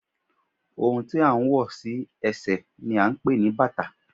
Ohun tí à ń wọ̀ sí ẹsẹ̀ ni à ń pè ní bàtà